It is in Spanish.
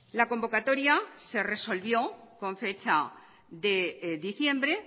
la convocatoria se resolvió con fecha de diciembre